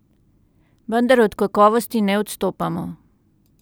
Vendar od kakovosti ne odstopamo.